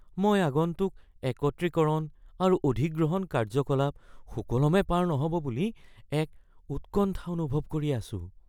মই আগন্তুক একত্ৰীকৰণ আৰু অধিগ্ৰহণ কাৰ্যকলাপ সুকলমে পাৰ নহ'ব বুলি এক উৎকণ্ঠা অনুভৱ কৰি আছোঁ।